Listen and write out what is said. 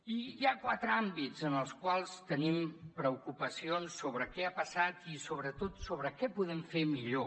i hi ha quatre àmbits en els quals tenim preocupacions sobre què ha passat i sobretot sobre què podem fer millor